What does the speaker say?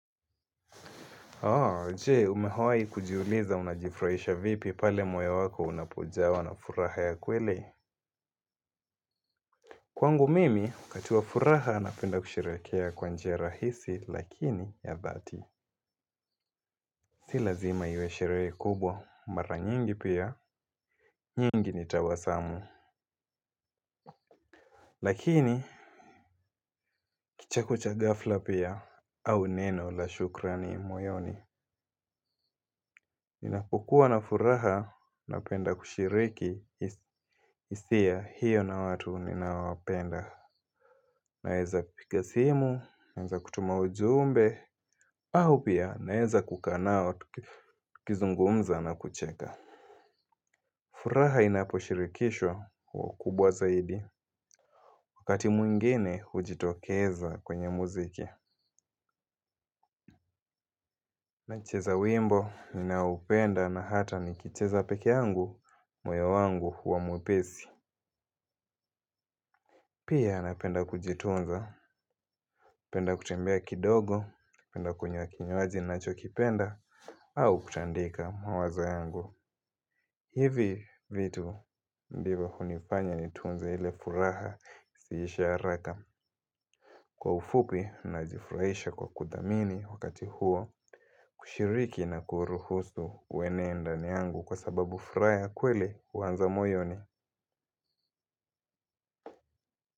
Je umehawahi kujiuliza unajifuraisha vipi pale moyo wako unapojawa na furaha ya kweli. Kwangu mimi wakati furaha napenda kusherehekea kwa njia rahisi lakini ya dhati. Si lazima iwe sherehe kubwa mara nyingi pia nyingi ni tawasamu. Lakini kicheko cha ghafla pia au neno la shukrani moyoni ninapokua na furaha napenda kushiriki hisia hiyo na watu ninaowapenda. Naeza piga simu, naeza kutuma ujumbe. Au pia naeza kukaa nao tukizungumza na kucheka. Furaha inaposhirikishwa huwa kubwa zaidi. Wakati mwingine hujitokeza kwenye muziki. Nacheza wimbo ninaoupenda na hata nikicheza peke yangu moyo wangu huwa mwepesi. Pia napenda kujitunza, napenda kutembea kidogo, napenda kunywa kinywaji ninachokipenda, au kutandika mawazo yangu. Hivi vitu ndivyo hunifanya nitunze ile furaha isiishe haraka. Kwa ufupi najifurahisha kwa kuthamini wakati huo, kushiriki na kuruhusu uenee ndani yangu kwa sababu furaha kweli huanza moyoni.